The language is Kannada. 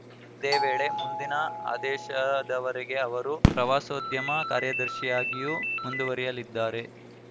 ಇದೇ ವೇಳೆ ಮುಂದಿನ ಆದೇಶದವರೆಗೆ ಅವರು ಪ್ರವಾಸೋದ್ಯಮ ಕಾರ್ಯದರ್ಶಿಯಾಗಿಯೂ ಮುಂದುವರೆಯಲಿದ್ದಾರೆ